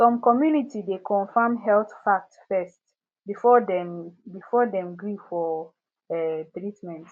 some community dey confirm health facts first before dem before dem gree for um treatment